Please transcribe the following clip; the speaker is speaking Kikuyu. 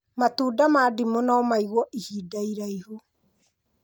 Matunda ma ndimũ no maigwo ihinda iraihu